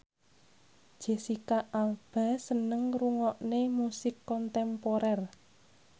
Jesicca Alba seneng ngrungokne musik kontemporer